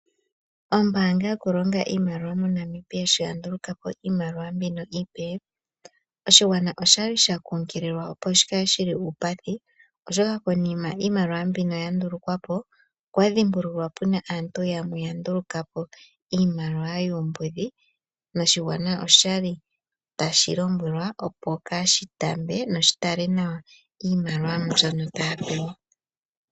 Ombaanga yokulonga iimaliwa moNamibia shi yandulukapo iimaliwa mbino iipe, oshigwana oshili sha kuunkililwa opo shikale shili uupathi, oshoka konima iimaliwa mbino yandulukwapo, okwadhimbululwa puna aantu yamwe yandulukapo iimaliwa yuumbudhi noshigwana oshali tashi lombwele opo kaashitambe noshitale nawa iimaliwa mbyoka taya pewa.